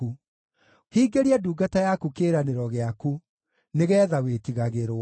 Hingĩria ndungata yaku kĩĩranĩro gĩaku, nĩgeetha wĩtigagĩrwo.